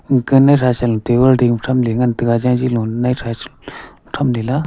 gana thasa lo table dingma thamley ngantaga nai thasa thamlela.